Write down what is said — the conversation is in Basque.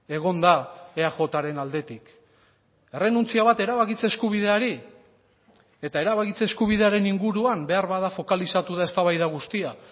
egon da eajren aldetik errenuntzia bat erabakitze eskubideari eta erabakitze eskubidearen inguruan beharbada fokalizatu da eztabaida guztia